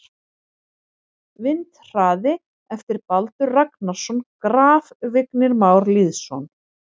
Vindhraði eftir Baldur Ragnarsson Graf: Vignir Már Lýðsson